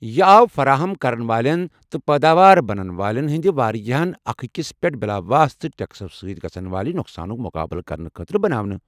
یہِ آو فراہمی كرن والین تہٕ پٲداوار بناون والین ہندِ وارِیاہن اكھ اكِس پیٹھ بِلاواسطہٕ ٹیكسو سۭتۍ گژھن والہِ نۄقسانُك مُقابلہٕ كرنہٕ خٲطرٕ بناونہٕ ۔